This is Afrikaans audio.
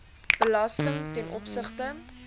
belasting ten opsigte